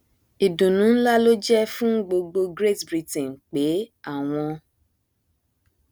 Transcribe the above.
ìdùnnú nlá ló jẹ fún gbogbo great britain pé àwọn